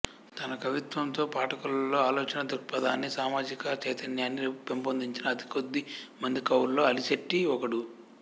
తన కవిత్వంతో పాఠకుల్లో ఆలోచనాదృక్పథాన్ని సామాజిక చైతన్యాన్ని పెంపొందించిన అతి కొద్ది మంది కవుల్లో అలిశెట్టి ఒకడు